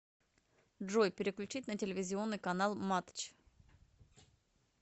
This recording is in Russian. джой переключить на телевизионный канал матч